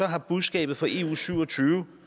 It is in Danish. har budskabet fra eu syv og tyve